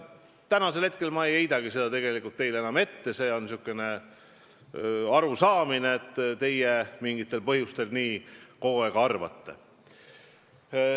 Ja ma ei heidagi teile enam ette, et te mingitel põhjustel olete kogu aeg nii arvanud.